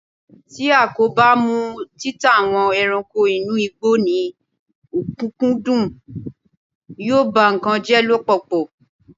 ti a ko ba mu títà àwọn ẹranko inú igbó ni okunkundun, yíò ba nkan jẹ lọpọlọpọ